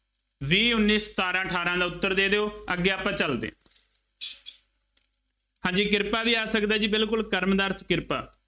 ਵੀਹ, ਉੱਨੀ, ਸਤਾਰਾਂ, ਅਠਾਰਾਂ ਉੱਤਰ ਦੇ ਦਿਉ, ਅੱਗੇ ਆਪਾਂ ਚੱਲਦੇ ਹਾਂ ਹਾਂਜੀ ਕਿਰਪਾ ਵੀ ਆ ਸਕਦਾ ਬਿਲਕੁੱਲ ਕਰਮ ਦਾ ਅਰਥ ਕਿਰਪਾ,